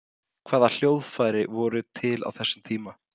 hvaða hljóðfæri voru til á þessum tíma